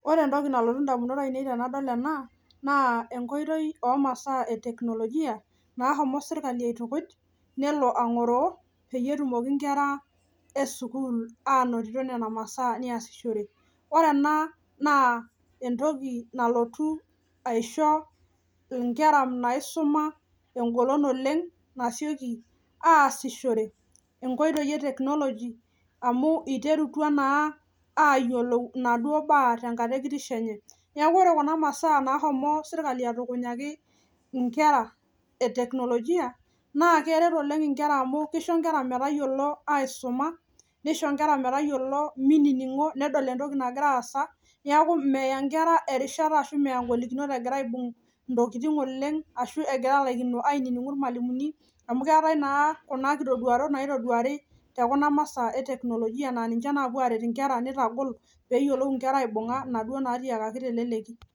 Ore entoki nalotu indamunot ainei tenadol enaa naa enkoitoi omasaa eteknolojia naashomo sirkali aitukuj nelo angoroo peyie etumoki inkera esukuul anotito nena masaa neasishore. Ore ana naa entoki nalotu aisho inkera naisuma engolon oleng nasioki aasishore, enkoitoi eteknoloji amu eiterutua naa aayiolou enaduo baa tenkata ekishenye. Neaku ore kuna masaa naashomo sirkali atukunyaki inkera eteknolojia naa keret oleng inkera amu keisho inkera metayiolo aisuma, neisho inkera metayiolo meininig'o, nedol entoki nagira aasa, neaku meya inkera erishata ashu meya ingolinikinot egira aibung' intokitin oleng oleng ashu egira alakino ainining'u ilmwalimuni amu keatae naa kuna nkitoduarot naitoduari to kuna masaa eteknolojia naa ninche naapuo aaret inkera, neitagol peeyiolou inkera aibung'a enaduo natiakaki te leleki.